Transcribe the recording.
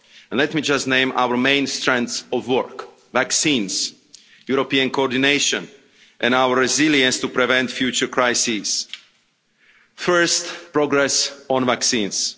Let me just name our main strands of work vaccines, European coordination and our resilience to prevent future crises. First, progress on vaccines.